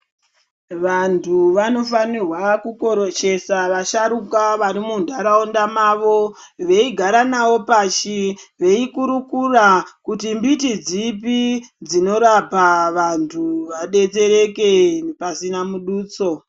Vanthu vanofanirwa kukoroshesa vasharuka vari munharaunda mavo veigara navo pashi veikurukura kuti mbiti dzipi dzinorapa vanthu vadetsereke pasina muduso.